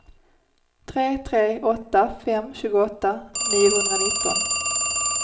tre tre åtta fem tjugoåtta niohundranitton